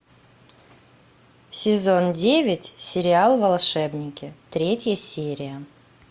сезон девять сериал волшебники третья серия